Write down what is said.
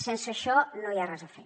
sense això no hi ha res a fer